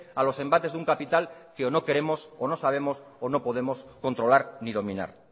a los embates de un capital que o no queremos o no sabemos o no podemos controlar ni dominar